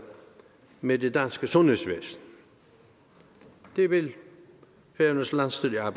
med det danske sundhedsvæsen det vil færøernes landsstyre